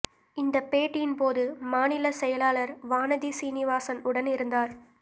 இந்த பேட்டியின் போது மாநில செயலாளர் வானதி சீனிவாசன் உடன் இருந்தார்